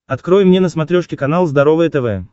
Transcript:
открой мне на смотрешке канал здоровое тв